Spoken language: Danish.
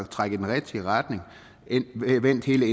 trække i den rigtige retning man har vendt hele